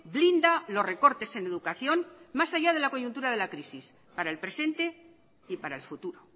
blinda los recortes en educación más allá de la coyuntura de la crisis para el presente y para el futuro